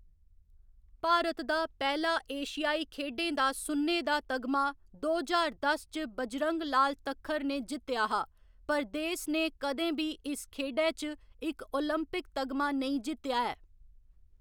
भारत दा पैह्‌‌ला एशियाई खेढें दा सुन्ने दा तगमा दो ज्हार दस च बजरंग लाल तखर ने जित्तेआ हा, पर देस ने कदें बी इस खेढै च इक ओलंपिक तगमा नेईं जित्तेआ ऐ।